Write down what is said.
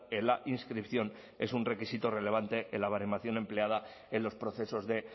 en la inscripción es un requisito relevante en la baremación empleada en los procesos de